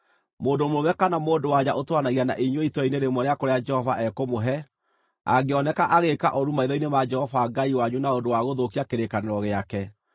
Mũndũ mũrũme kana mũndũ-wa-nja ũtũũranagia na inyuĩ itũũra-inĩ rĩmwe rĩa kũrĩa Jehova ekũmũhe, angĩoneka agĩĩka ũũru maitho-inĩ ma Jehova Ngai wanyu na ũndũ wa gũthũkia kĩrĩkanĩro gĩake,